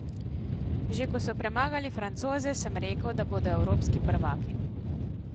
Že ko so premagali Francoze, sem rekel, da bodo evropski prvaki.